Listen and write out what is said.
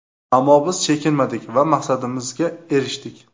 Ammo biz chekinmadik va maqsadimizga erishdik.